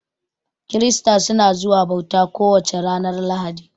Kirista suna zuwa bauta ko wace ranar lahadi